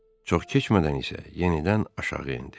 Çox keçmədən isə yenidən aşağı endi.